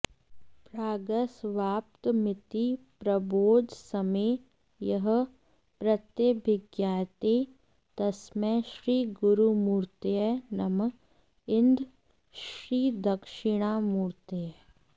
प्रागस्वाप्तमिति प्रबोधसमये यः प्रत्यभिज्ञायते तस्मै श्रीगुरुमूर्तये नम इदं श्रीदक्षिणामूर्तये